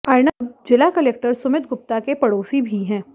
अर्नब जिला कलेक्टर सुमित गुप्ता के पड़ोसी भी हैं